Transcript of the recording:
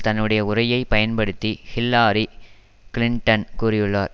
தன்னுடைய உரையை பயன்படுத்தி ஹில்லாரி கிளிண்டன் கூறியுள்ளார்